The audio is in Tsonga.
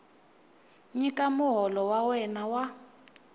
nyika muholo wa wena wa